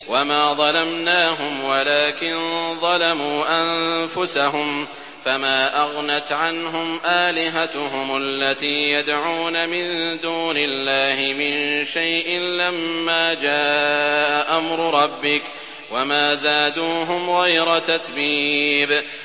وَمَا ظَلَمْنَاهُمْ وَلَٰكِن ظَلَمُوا أَنفُسَهُمْ ۖ فَمَا أَغْنَتْ عَنْهُمْ آلِهَتُهُمُ الَّتِي يَدْعُونَ مِن دُونِ اللَّهِ مِن شَيْءٍ لَّمَّا جَاءَ أَمْرُ رَبِّكَ ۖ وَمَا زَادُوهُمْ غَيْرَ تَتْبِيبٍ